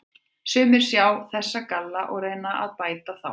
Sumir sjá þessa galla og reyna að bæta þá.